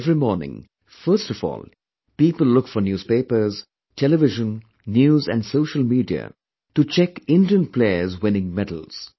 Every morning, first of all, people look for newspapers, Television, News and Social Media to check Indian playerswinning medals